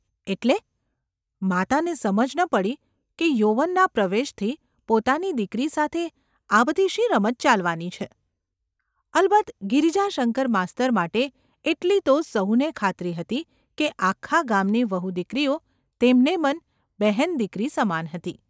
‘એટલે ?’ માતાને સમજ ન પડી કે યૌવનના પ્રવેશથી પોતાની દીકરી સાથે આ બધી શી રમત ચાલવાની છે ? અલબત્ત ગિરજાશંકર માસ્તર માટે એટલી તો સહુને ખાતરી હતી કે આખા ગામની વહુદીકરીઓ તેમને મન બહેન દીકરી સમાન હતી.